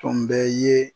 Tun bɛ ye